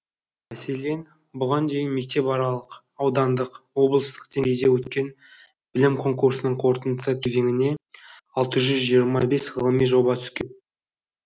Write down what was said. мәселен бұған дейін мектепаралық аудандық облыстық деңгейде өткен білім конкурсының қорытынды кезеңіне алты жүз жиырма бес ғылыми жоба түскен